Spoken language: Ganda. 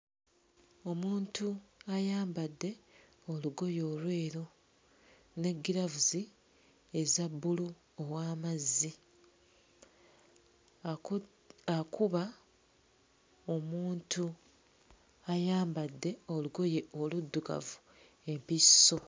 Omuntu ayambadde olugoye olweru ne ggiraavuzi eza bbulu ow'amazzi aku akuba omuntu ayambadde olugoye oluddugavu empiso.